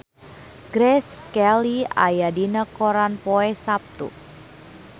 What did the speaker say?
Grace Kelly aya dina koran poe Saptu